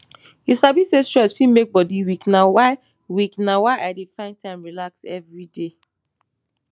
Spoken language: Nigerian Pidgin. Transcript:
you sabi say stress fit make body weak na why weak na why i dey find time relax every day